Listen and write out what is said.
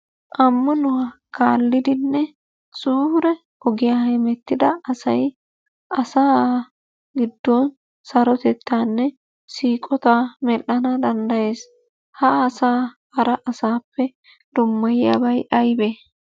Ammanuwa kaallidinne suure ogiya hemettida asay asaa giddon sarotettaanne siiqotaa medhdhana danddayees. Ha asaa hara asaappe dummayiyabay aybee?